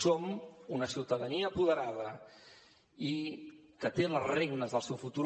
som una ciutadania apoderada i que té les regnes del seu futur